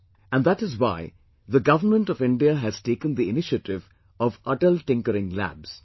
And that is why the Government of India has taken the initiative of 'Atal Tinkering Labs'